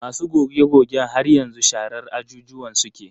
Masu goge-gogen har yanzu sharar ajujuwan suke.